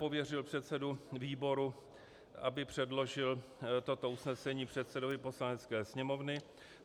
Pověřil předsedu výboru, aby předložili toto usnesení předsedovi Poslanecké sněmovny.